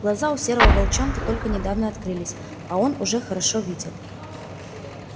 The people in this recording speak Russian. глаза у серого волчонка только недавно открылись а он уже хорошо видел